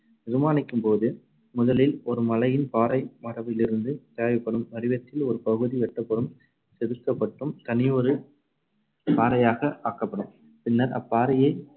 நிர்மாணிக்கும்போது முதலில் ஒரு மலையின் பாறை மரபிலிருந்து தேவைப்படும் வடிவத்தில் ஒரு பகுதி வெட்டப்பட்டும் செதுக்கப்பட்டும் தனியொரு பாறையாக ஆக்கப்படும். பின்னர் அப்பாறையை